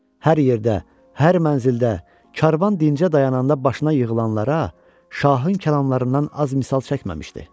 Hər yerdə, hər mənzildə, karvan dincə dayananda başına yığılanlara Şahın kəlamlarından az misal çəkməmişdi.